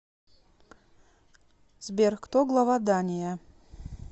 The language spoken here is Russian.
сбер кто глава дания